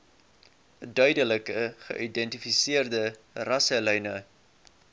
duidelik geïdentifiseerde rasselyne